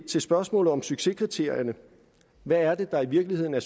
til spørgsmålet om succeskriterierne hvad er det der i virkeligheden er